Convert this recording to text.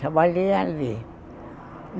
Trabalhei ali.